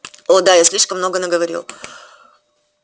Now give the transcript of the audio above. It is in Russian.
о да я слишком много наговорил